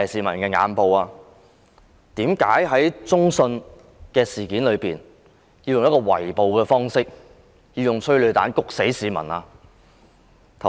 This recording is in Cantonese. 為甚麼要在中信大廈採用圍捕方式，施放催淚彈令市民呼吸困難？